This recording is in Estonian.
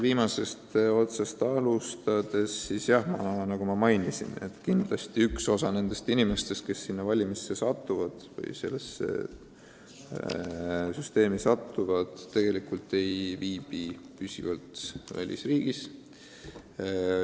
Viimasest otsast alustades: nagu ma märkisin, kindlasti üks osa nendest inimestest, kes sellesse valimisse või sellesse süsteemi satuvad, tegelikult ei viibi püsivalt riigis.